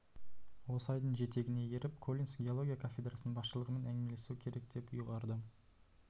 осы ойдың жетегіне еріп коллинс геология кафедрасының басшылығымен әңгімелесу керек деп ұйғарды